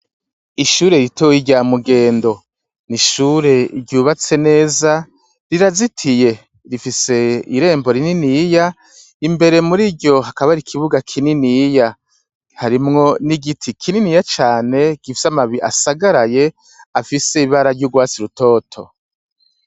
Ishure ritoyi rya mugendo, n'ishure ryubatse neza, rizitiye rifise irembo rininiya, imbere muriryo hakaba har'ikibuga kininiya, harimwo n'igiti kininiya cane gifise amababi asagaraye afise ibara ry'urwatsi rutoto.